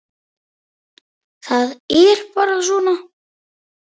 Það er bara svona!